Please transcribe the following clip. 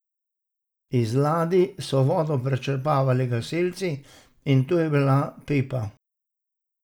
Iz ladij so vodo prečrpavali gasilci in tu je bila pipa.